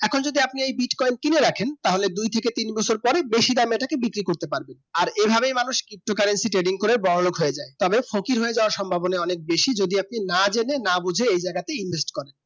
এখন যদি আপনি bitcoin কিনে রাখেন তাহলে দুই থেকে তিন বছর পরে বেশি দামে ইটা বিক্রি করতে পারবেন আর এই ভাবে মানুষ ptocurrency এর trading করে বড়ো লোক হয়ে যায় তবে ফকির হয়ে যাবার সম্ভবনা